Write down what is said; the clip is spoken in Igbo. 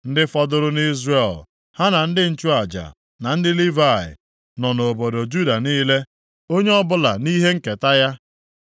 Ndị fọdụrụ nʼIzrel, ha na ndị nchụaja, na ndị Livayị, nọ nʼobodo Juda niile, onye ọbụla nʼihe nketa ya.